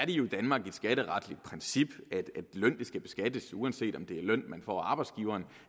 jo i danmark et skatteretligt princip at løn skal beskattes uanset om det er løn man får af arbejdsgiveren